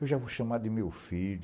Eu já vou chamar de meu filho.